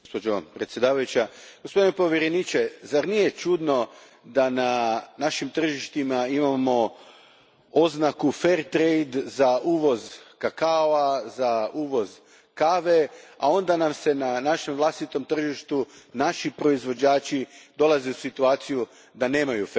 Gospođo predsjedavajuća, gospodine povjereniče, zar nije čudno da na našim tržištima imamo oznaku za uvoz kakaoa, za uvoz kave, a onda na našem vlastitom tržištu naši proizvođači dolaze u situaciju da nemaju